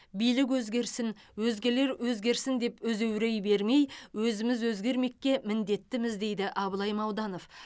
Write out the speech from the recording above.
билік өзгерсін өзгелер өзгерсін деп өзеурей бермей өзіміз өзгермекке міндеттіміз дейді абылай мауданов